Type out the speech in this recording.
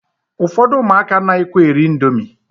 Ụfọdụ ụmụaka anaghịkwa eri indomi